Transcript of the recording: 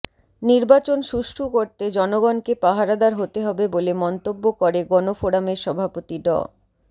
নির্বাচন সুষ্ঠু করতে জনগণকে পাহারাদার হতে হবে বলে মন্তব্য করে গণফোরামের সভাপতি ড